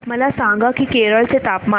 मला सांगा की केरळ चे तापमान